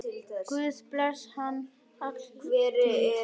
Guð blessi hann alla tíð.